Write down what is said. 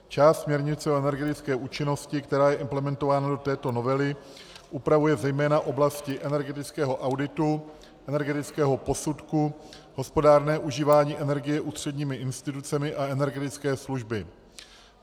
Část směrnice o energetické účinnosti, která je implementována do této novely, upravuje zejména oblasti energetického auditu, energetického posudku, hospodárné užívání energie ústředními institucemi a energetické služby.